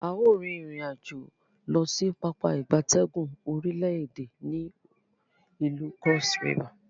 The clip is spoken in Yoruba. A o rin irin-ajo losi Pápá ìgbatẹ́gùn orile ede ni ilu Cross River.